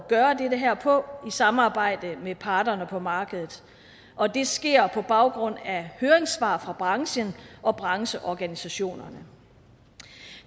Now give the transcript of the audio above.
gøre det her på i samarbejde med parterne på markedet og det sker på baggrund af høringssvar fra branchen og brancheorganisationerne